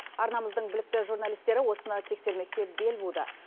арнамыздың білікті журналистері осыны тексермекке бел буды